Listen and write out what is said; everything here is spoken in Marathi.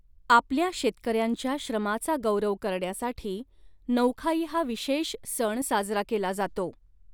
आपल्या शेतकऱ्यांच्या श्रमाचा गौरव करण्यासाठी नऊखाई हा विशेष सण साजरा केला जातो.